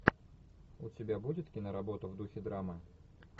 у тебя будет киноработа в духе драмы